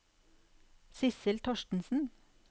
Sissel Thorstensen